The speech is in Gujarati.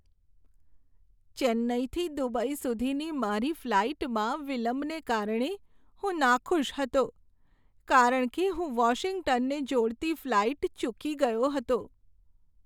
ચેન્નાઈથી દુબઈ સુધીની મારી ફ્લાઇટમાં વિલંબને કારણે હું નાખુશ હતો કારણ કે હું વોશિંગ્ટનને જોડતી ફ્લાઇટ ચૂકી ગયો હતો.